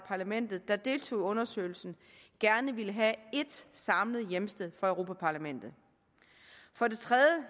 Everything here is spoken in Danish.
parlamentet der deltog i undersøgelsen gerne vil have et samlet hjemsted for europa parlamentet for det tredje